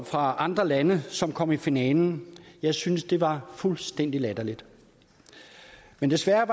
fra andre lande som kom i finalen jeg synes det var fuldstændig latterligt men desværre